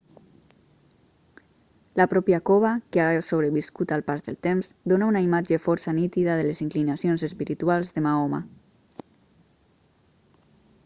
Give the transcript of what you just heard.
la pròpia cova que ha sobreviscut al pas del temps dona una imatge força nítida de les inclinacions espirituals de mahoma